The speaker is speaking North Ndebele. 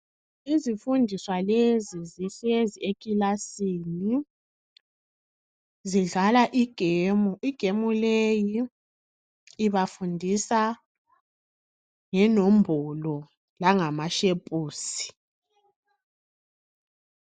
Izifundiswa lezi zihlezi ekilasini, .zidlala igame. Igame ke ibafundisa ngenombolo langamashepusi.